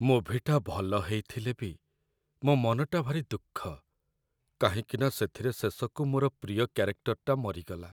ମୁଭିଟା ଭଲ ହେଇଥିଲେ ବି ମୋ' ମନଟା ଭାରି ଦୁଃଖ କାହିଁକିନା ସେଥିରେ ଶେଷକୁ ମୋର ପ୍ରିୟ କ୍ୟାରେକ୍ଟରଟା ମରିଗଲା ।